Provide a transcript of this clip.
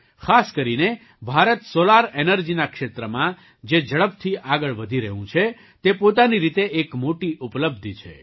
ખાસ કરીને ભારત સૉલાર ઍનર્જીના ક્ષેત્રમાં જે ઝડપથી આગળ વધી રહ્યું છે તે પોતાની રીતે એક મોટી ઉપલબ્ધિ છે